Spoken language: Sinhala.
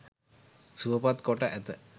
සුවපත් කොට ඇත.